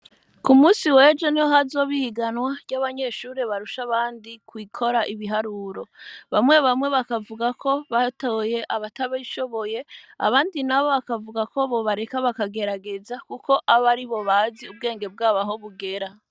Ku musi wejo niho hazoba ihiganwa , ry'abanyeshure barusha abandi gukora ibiharuro. Bamwe bamwe bakavuga ko batoye abatabishoboye , abandi nabo bakavuga ko bobareka bakagerageza kuko abaribo bazi ubwenge bwabo aho bugera.